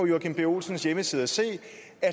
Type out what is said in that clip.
joachim b olsens hjemmeside og se